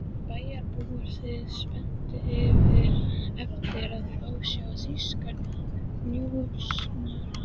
Bæjarbúar biðu spenntir eftir að fá að sjá þýskan njósnara.